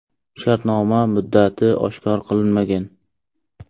Shartnoma muddati oshkor qilinmagan.